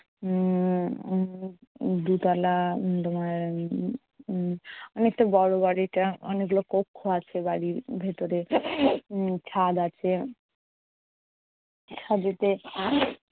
উম্ম উম দোতলা উম তোমার উম উম অনেকটা বড় বাড়িটা। অনেকগুলো কক্ষ আছে বাড়ির ভেতরে। উম ছাদ আছে। ছাদেতে